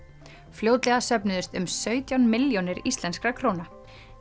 fljótlega söfnuðust um sautján milljónir íslenskra króna